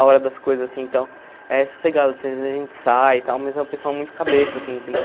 A hora das coisas, assim, então, é sossegado, assim às vezes a gente sai e tal, mas é um pessoal muito cabeça, assim, entendeu?